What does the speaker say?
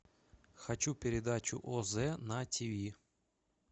хочу передачу оз на тв